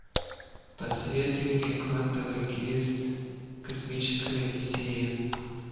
посоветуй мне квантовый квест космическая одиссея